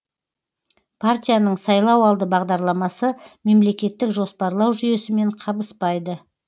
партияның сайлауалды бағдарламасы мемлекеттік жоспарлау жүйесімен қабыспайды